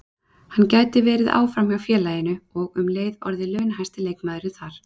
Hann gæti verið áfram hjá félaginu og um leið orðið launahæsti leikmaðurinn þar.